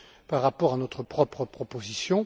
par rapport à notre propre proposition.